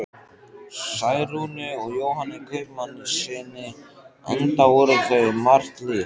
Særúnu og Jóhanni kaupmannssyni, enda voru þau um margt lík.